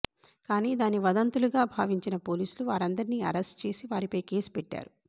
కానీ దాన్ని వదంతులుగా భావించిన పోలీసులు వారందరినీ అరెస్టు చేసి వారిపై కేసు పెట్టారు